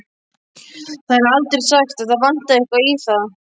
Það er aldrei sagt að það vanti eitthvað í þá.